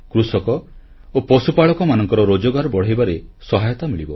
କୃଷକ ଓ ପଶୁପାଳକମାନଙ୍କର ରୋଜଗାର ବଢ଼ାଇବାରେ ସହାୟତା ମିଳିବ